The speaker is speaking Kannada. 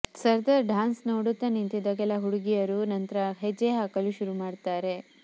ಸರ್ದಾರ್ ಡಾನ್ಸ್ ನೋಡುತ್ತ ನಿಂತಿದ್ದ ಕೆಲ ಹುಡುಗಿಯರೂ ನಂತ್ರ ಹೆಜ್ಜೆ ಹಾಕಲು ಶುರುಮಾಡ್ತಾರೆ